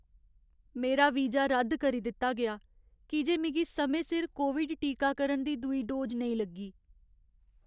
मेरा वीजा रद्द करी दित्ता गेआ की जे मिगी समें सिर कोविड टीकाकरण दी दूई डोज नेईं लग्गी।